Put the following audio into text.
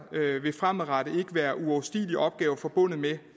fremadrettet ikke være uoverstigelige opgaver forbundet med